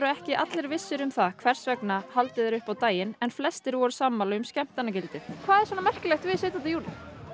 ekki allir vissir um það hvers vegna haldið er upp á daginn en flestir eru sammála um skemmtanagildið hvað er svona merkilegt við sautján júní